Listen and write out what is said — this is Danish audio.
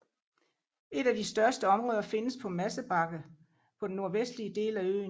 Et af de største områder findes på Madsebakke på den nordvestlige del af øen